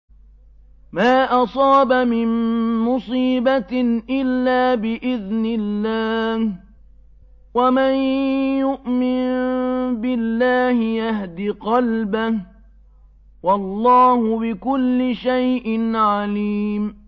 مَا أَصَابَ مِن مُّصِيبَةٍ إِلَّا بِإِذْنِ اللَّهِ ۗ وَمَن يُؤْمِن بِاللَّهِ يَهْدِ قَلْبَهُ ۚ وَاللَّهُ بِكُلِّ شَيْءٍ عَلِيمٌ